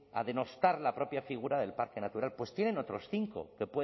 a denostar la propia figura del parque natural pues tienen otros cinco